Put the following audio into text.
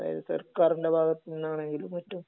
അതായത് സർക്കാരിന്റെ ഭാഗത്ത് നിന്നാണെങ്കിലും മറ്റും...